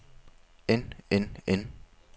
end end end